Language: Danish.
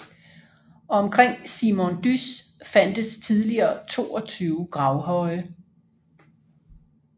Omkring Simondys fandtes tidligere 22 gravhøje